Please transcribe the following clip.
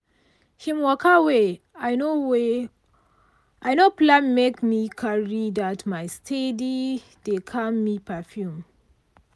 him waka wey i no wey i no plan make me carry that my steady-dey-calm-me perfume.